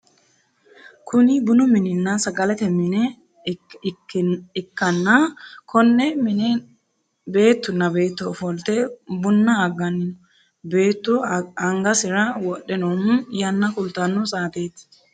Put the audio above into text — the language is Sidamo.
Kunni bunnu minenna sagalete mine ikanna Konne minne beetunna beeto ofolte bunna aganni no. Beetu angasira wudhe noohu yanna kultano saateeti.